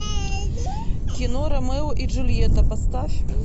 кино ромео и джульетта поставь